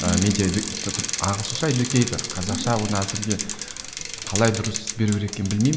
ағылшынша қазақша оны әзірге қалай дұрыс беру керек екенін білмеймін